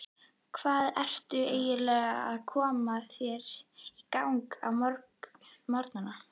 Hvað ertu lengi að koma þér í gagn á morgnana?